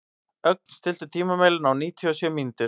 Ögn, stilltu tímamælinn á níutíu og sjö mínútur.